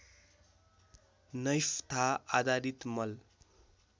naphtha आधारित मल